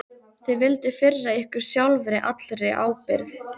Þið vilduð firra ykkur sjálfa allri ábyrgð.